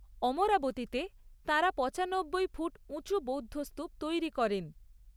অমরাবতীতে তাঁরা পঁচানব্বই ফুট উঁচু বৌদ্ধ স্তূপ তৈরি করেন।